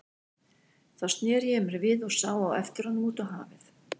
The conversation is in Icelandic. Þá sneri ég mér við og sá á eftir honum út á hafið.